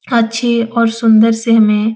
अच्छे और सुन्दर से हमें --